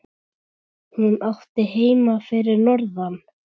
Hún átti heima fyrir norðan.